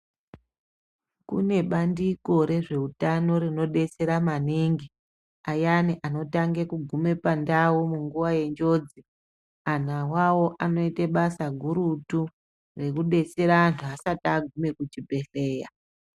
Kune bandiko rezveutano rinodetsera maningi, ayani anotange kugume pandau munguwa yenjodzi. Antu awawo anoite basa gurutu rekudetsera antu asat agume kuchibhedhleya.